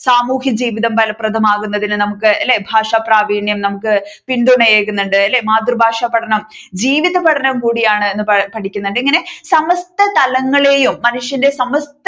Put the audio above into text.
സാമൂഹിക ജീവിതം ബലപ്രദമാകുന്നതിന് നമ്മുക്ക് അല്ലെ ഭാഷാപ്രാപീണ്യം നമ്മുക്ക് പിന്തുണ ഏകുന്നുണ്ട് അല്ലെ മാതൃഭാഷ പഠനം ജീവിതപഠനം കൂടിയാണ് എന്ന് പഠിക്കുന്നുണ്ട് ഇങ്ങനെ സമസ്ത തലങ്ങളെയും മനുഷ്യന്റെ സമസ്ത